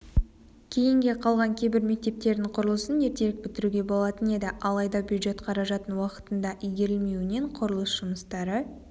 кейінге қалған кейбір мектептердің құрылысын ертерек бітіруге болатын еді алайда бюджет қаражатын уақытында игерілмеуінен құрылыс жұмыстары